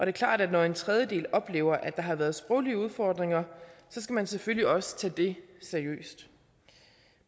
er klart at når en tredjedel oplever at der har været sproglige udfordringer skal man selvfølgelig også tage det seriøst